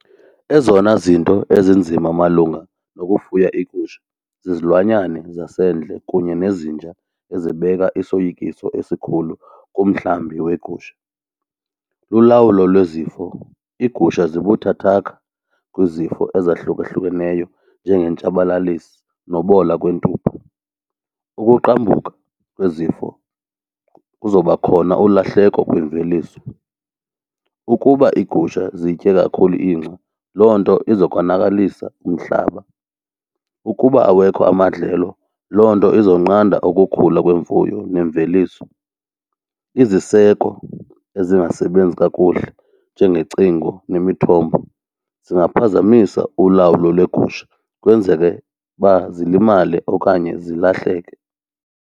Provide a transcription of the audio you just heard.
Ezona zinto ezinzima malunga nokufuya iigusha zizilwanyana zasendle kunye nezinja ezibeka isoyikiso esikhulu kumhlambi weegusha. Lulawulo lwezifo, iigusha zibuthakathaka kwizifo ezahlukahlukeneyo njengentshabalalisi nobola kwempuphu. Ukuqambuka kwezifo kuzoba khona ulahleko kwimveliso. Ukuba iigusha zitye kakhulu ingca, loo nto iza konakalisa umhlaba. Ukuba awekho amadlelo loo nto izonqanda ukugula kwemfuyo nemveliso. Iziseko ezingasebenzi kakuhle njengecingo nemithombo zingaphazamisa ulawulo lweegusha kwenzeke uba zilimale okanye zilahleke.